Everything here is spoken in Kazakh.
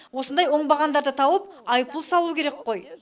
осындай оңбағандарды тауып айыппұл салу керек қой